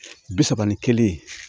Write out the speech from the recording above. Bi saba ni kelen